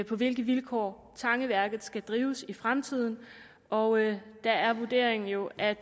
på hvilke vilkår tangeværket skal drives i fremtiden og der er vurderingen jo at